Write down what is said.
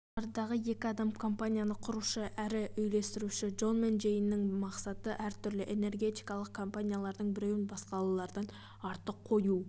жоғарыдағы екі адам компанияны құрушы әрі үйлестіруші джон мен джейннің мақсаты әртүрлі энергетикалық компаниялардың біреуін басқалардан артық қою